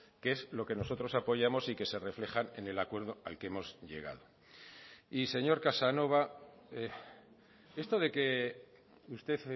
que es lo que nosotros apoyamos y que se reflejan en el acuerdo al que hemos llegado y señor casanova esto de que usted